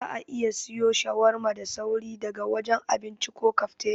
Za'a iya siwo shawarma da sauri daga wajen abinci ko kafteriya.